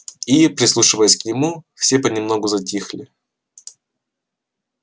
и прислушиваясь к нему все понемногу затихли